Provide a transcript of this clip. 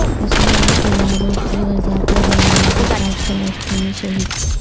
اسرائیلی طیاروں کی غزہ پر بمباری پانچ فلسطینی شہید